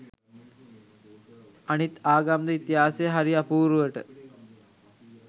අනිත් ආගම් ද ඉතිහාසයේ හරි අපූරුවට